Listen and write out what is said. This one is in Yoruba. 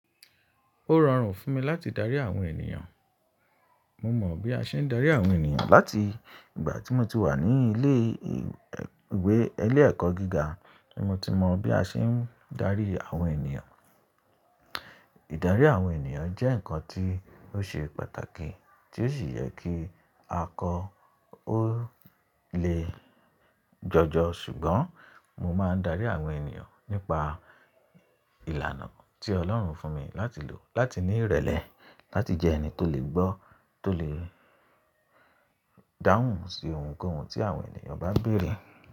Ó rọrùn fún mi láti dárí àwọn ènìyàn. Mo mọ̀ bí a ṣe ń dárí àwọn ènìyàn láti ìgbà tí mo ti wà ní ilé ìwé ilẹ́ ẹ̀kọ́ gíga, ní mo ti mọ bí a ṣe ń dárí àwọn ènìyàn. Ìdárí àwọn ènìyàn jẹ́ nǹkan tí ó ṣe pàtàkì tí ó sì yẹ kí a kọ ó lè jọjọ, ṣùgbọ́n mo máa ń dárí àwọn ènìyàn nípa ìlànà tí Ọlọ́run fún mi láti lò, láti ní ìrẹ̀lẹ̀, láti jẹ ẹni tó lè gbọ́, tó lè dáhùn sí ohunkóhun tí àwọn ènìyàn bá n bèrè.